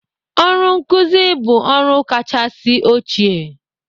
Ọrụ nkuzi bụ ọrụ kachasị ochie'